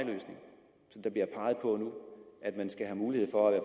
ind der bliver peget på nu at man skal have mulighed for at være